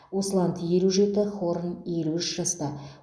усланд елу жеті хорн елу үш жаста